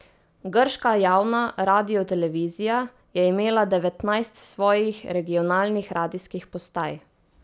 Grška javna radiotelevizija je imela devetnajst svojih regionalnih radijskih postaj.